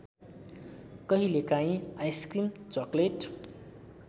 कहिलेकाहीँ ice cream chocolate